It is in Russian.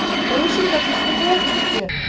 у мужчин как бы своё видете